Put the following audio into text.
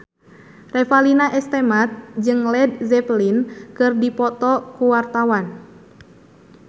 Revalina S. Temat jeung Led Zeppelin keur dipoto ku wartawan